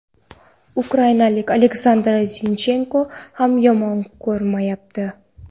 Ukrainalik Oleksandr Zinchenko ham yomon ko‘rinmayapti.